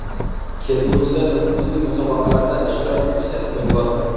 Kelgusida nufuzli musobaqalarda ishtirok etishdan umidvorman.